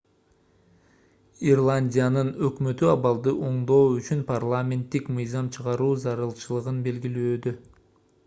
ирландиянын өкмөтү абалды оңдоо үчүн парламенттик мыйзам чыгаруу зарылчылыгын белгилөөдө